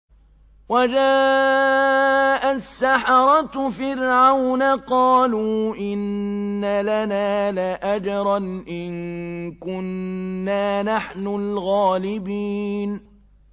وَجَاءَ السَّحَرَةُ فِرْعَوْنَ قَالُوا إِنَّ لَنَا لَأَجْرًا إِن كُنَّا نَحْنُ الْغَالِبِينَ